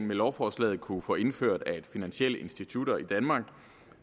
med lovforslaget kunne få indført at finansielle institutter i danmark